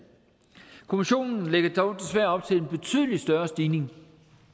kommissionen lægger dog desværre op til en betydelig større stigning